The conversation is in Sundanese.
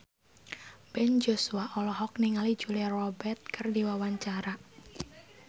Ben Joshua olohok ningali Julia Robert keur diwawancara